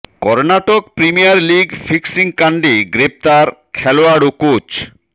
Karnataka premier league fixing কাণ্ডে গ্রেফতার খেলোয়াড় ও কোচ